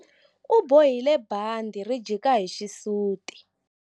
U bohile bandhi ri jika hi xisuti.